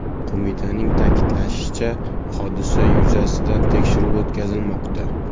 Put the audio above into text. Qo‘mitaning ta’kidlashicha, hodisa yuzasidan tekshiruv o‘tkazilmoqda.